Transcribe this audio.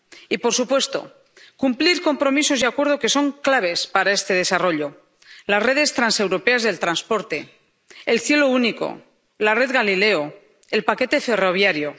Y, por supuesto, han de cumplirse compromisos y acuerdos que son claves para este desarrollo las redes transeuropeas de transporte, el Cielo Único, la red Galileo, el paquete ferroviario